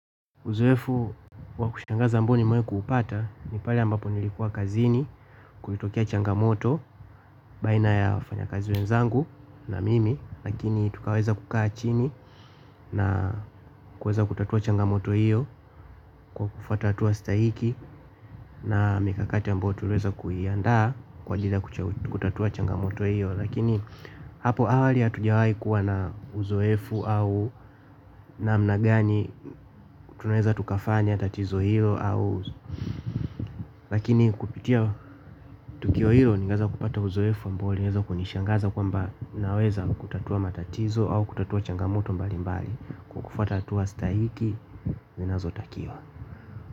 Uzoefu wa kushangaza ambao nimewahi kupata ni pale ambapo nilikuwa kazini. Kulitokea changamoto baina ya wafanyikazi wenzangu na mimi. Lakini tukaweza kukaa chini na kuweza kutatua changamoto hiyo kwa kufuata hatua stahiki na mikakati ambao tuliweza kuiandaa kwa ajili ya kutatua changamoto hiyo. Lakini hapo awali hatujawahi kuwa na uzoefu au namna gani tunaeza tukafanya tatizo hiyo au lakini kupitia tukio hilo ningeweza kupata uzoefu ambao ulieza kunishangaza kwamba naweza kutatua matatizo au kutatua changamoto mbalimbali kwa kufuata hatua stahiki zinazotakiwa.